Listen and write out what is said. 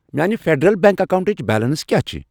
میانہِ Federal Bank اکاونٹٕچ balance کیٛاہ چھِ۔